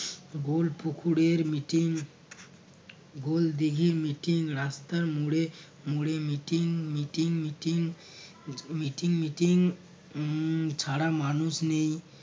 গোল পুকুরের meeting গোল দিঘির meeting রাস্তার মোড়ে মোড়ে meeting meeting meeting meeting meeting উম ছাড়া মানুষ নেই